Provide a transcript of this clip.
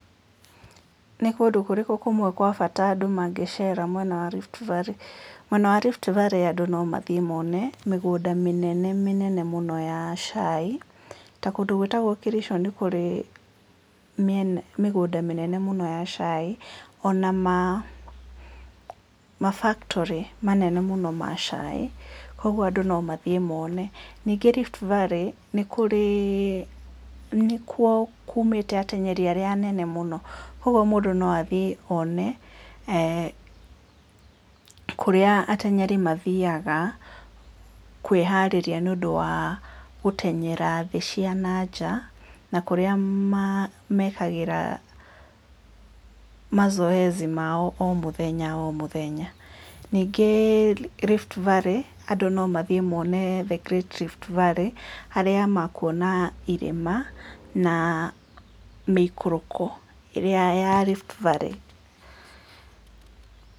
Nĩ kũndũ kũrĩkũ kũmwe kwa bata andũ mangĩceera mwena wa Rift Valley? Mwena wa Rift Valley andũ no mathiĩ mone mĩgũnda mĩnene mĩnene mũno ya chai, ta kũndũ gwĩtagwo Kericho nĩ kũrĩ mĩgũnda mĩnene mũno ya chai ona ma factory manene mũno ma chai, kwoguo andũ no mathiĩ mone, ningĩ Rift Valley nĩ kuo kumĩte ateng'eri arĩa anene mũno, kwoguo mũndũ no athiĩ one, eeh kũrĩa ateng'eri mathiaga kwĩharĩria gũteng'era thĩ cia na nja na kũrĩa mekagĩra mazoezi mao o mũthenya o mũthenya. Ningĩ Rift Valley andũ no mathiĩ mone the great Rift Valley harĩa makwona irĩma na mĩikũrũko ĩrĩa ya Rift Valley.